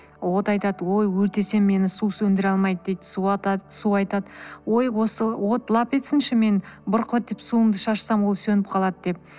от айтады ой өртесе мені су сөндіре алмайды дейді су айтады ой осы от лап етсінші мен бұрқ етіп суымды шашсам ол сөніп қалады деп